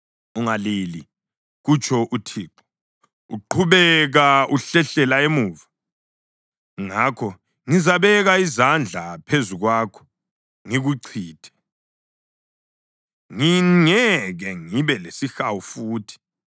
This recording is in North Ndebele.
Ungalile,” kutsho uThixo. “Uqhubeka uhlehlela emuva. Ngakho ngizabeka izandla phezu kwakho ngikuchithe; ngingeke ngibe lesihawu futhi.